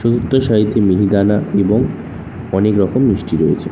চতুর্থ সারিতে মিহিদানা এবং অনেকরকম মিষ্টি রয়েছে।